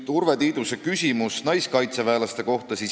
Urve Tiidus küsis siin naiskaitseväelaste kohta.